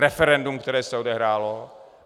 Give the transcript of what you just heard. Referendum, které se odehrálo.